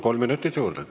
Kolm minutit juurde.